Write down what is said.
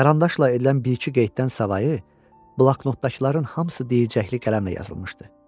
Qarandaçla edilən bir-iki qeyddən savayı, bloknotdakıların hamısı deyicəkli qələmlə yazılmışdı.